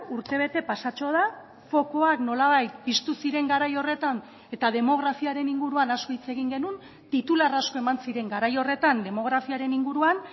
urtebete pasatxo da fokuak nolabait piztu ziren garai horretan eta demografiaren inguruan asko hitz egin genuen titular asko eman ziren garai horretan demografiaren inguruan